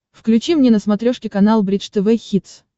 включи мне на смотрешке канал бридж тв хитс